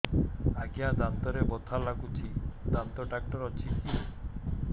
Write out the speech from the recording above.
ଆଜ୍ଞା ଦାନ୍ତରେ ବଥା ଲାଗୁଚି ଦାନ୍ତ ଡାକ୍ତର ଅଛି କି